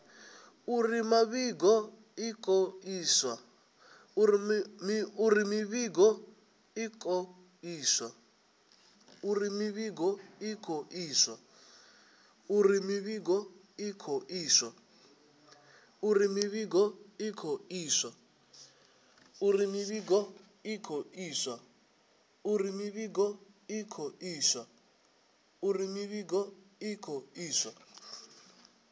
uri mivhigo i khou iswa